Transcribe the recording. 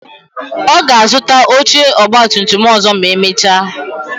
Ọ ga-azuta oche ọgba tum tum ọzọ ma emecha